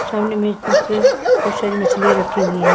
सामने मैं बहुत सारी मछलियां रखी हुई है।